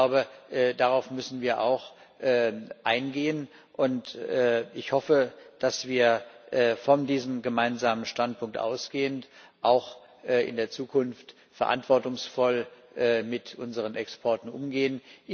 Ich glaube, darauf müssen wir auch eingehen, und ich hoffe, dass wir, von diesem gemeinsamen Standpunkt ausgehend, auch in der Zukunft verantwortungsvoll mit unseren Exporten umgehen.